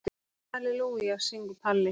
Halelúja, syngur Palli.